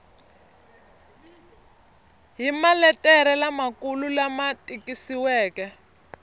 hi maletere lamakulu lama tikisiweke